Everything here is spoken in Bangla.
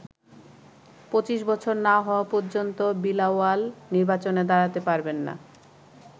২৫ বছর না হওয়া পর্যন্ত বিলাওয়াল নির্বাচনে দাঁড়াতে পারবেন না।